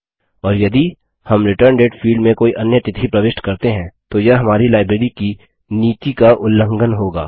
और यदि हम रिटर्न डेट फील्ड में कोई अन्य तिथि प्रविष्ट करते हैं तो यह हमारी लाइब्रेरी की नीति का उलंघन होगा